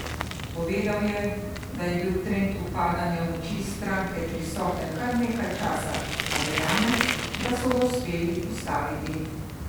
Povedal je, da je bil trend upadanja moči stranke prisoten kar nekaj časa, a verjame, da so ga uspeli ustaviti.